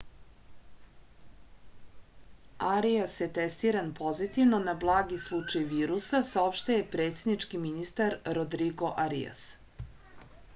arias je testiran pozitivno na blagi slučaj virusa saopštio je predsednički ministar rodrigo arias